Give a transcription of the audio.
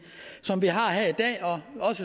som vi har her i dag